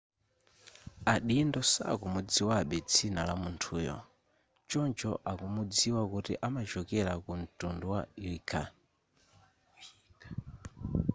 adindo sakumudziwabe dzina la munthuyo choncho akumudziwa kuti amachokera ku mtundu wa uighur